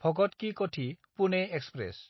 भगत कि कथि–पुने एक्सप्रेस